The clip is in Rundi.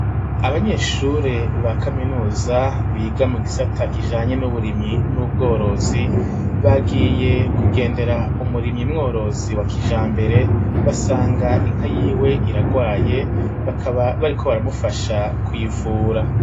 Abanyeshure ba kaminuza biga mu gisata kijanye n'uburimyi n'ubworozi bagiye kugendera umurimyi mworozi wa kija mbere basanga inka yiwe iragwaye bakaba bariko baramufasha kuivura.